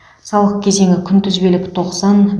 салық кезеңі күнтізбелік тоқсан